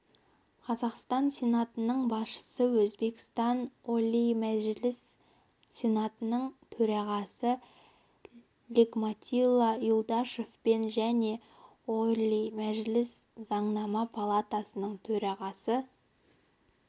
қазақстан сенатының басшысы өзбекстан олий мәжілісі сенатының төрағасы нигматилла юлдашевпен және олий мәжілісі заңнама палатасының төрағасы